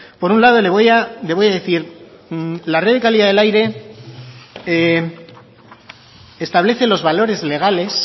por un lado le voy a decir la red de calidad del aire establece los valores legales